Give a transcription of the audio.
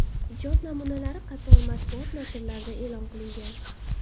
Ijod namunalari qator matbuot nashrlarida e’lon qilingan.